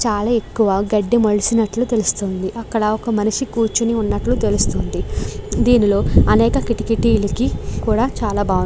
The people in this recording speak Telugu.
చాలా ఎక్కువ గడ్డి మొలిచినట్లు తెలుస్తోంది. అక్కడ ఒక మనిషి కూర్చుని ఉన్నట్లు తెలుస్తోంది. దీనిలో అనేక కిటికీటీలకి కూడా చాలా బాగుంది.